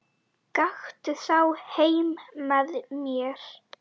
Gakktu þá heim með mér.